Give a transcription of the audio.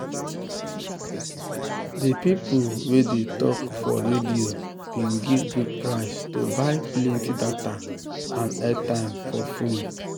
de people wey dey tok for radio bin give good price to buy plenty data and airtime for fone.